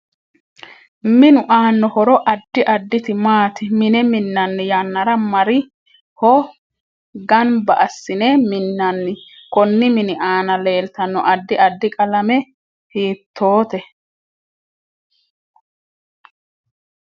Minu aaano horo addi additi maati mine minanni yannara mari ho ganbba assine minanni konni mini aana leeltano addi addi qalamma hiitoote